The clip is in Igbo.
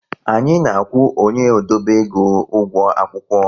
Anyị na-akwụ onye odobe ego ụgwọ akwụkwọ